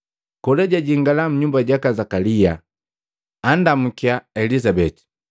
Kola jajingala nnyumba jaka Zakalia, andamukya Elizabeti.